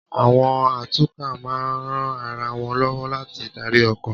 Àwọn atukọ̀ máa ń ran ara wọn lọ́wọ́ láti darí ọkọ̀